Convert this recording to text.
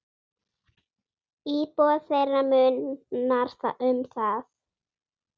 Íbúa þeirra munar um það.